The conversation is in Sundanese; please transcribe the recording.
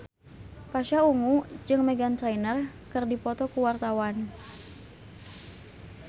Pasha Ungu jeung Meghan Trainor keur dipoto ku wartawan